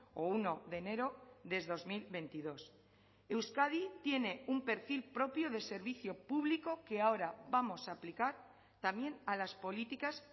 o uno de enero de dos mil veintidós euskadi tiene un perfil propio de servicio público que ahora vamos a aplicar también a las políticas